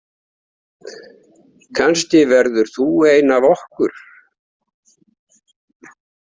Kannski verður þú ein af okkur.